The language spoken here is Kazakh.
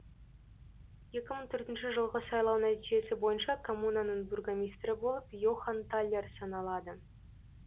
екі мың төртінші жылғы сайлау нәтижесі бойынша коммунаның бургомистрі болып йохан талер саналады